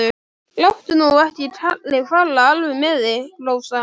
Láttu nú ekki kallinn fara alveg með þig, Rósa.